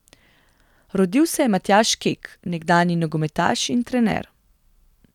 Rodil se je Matjaž Kek, nekdanji nogometaš in trener.